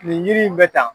Nin yiri in bɛ ta